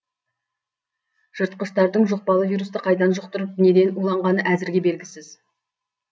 жыртқыштардың жұқпалы вирусты қайдан жұқтырып неден уланғаны әзірге белгісіз